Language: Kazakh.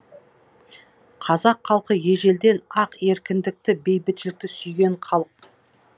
қазақ халқы ежелден ақ еркіндікті бейбітшілікті сүйген халық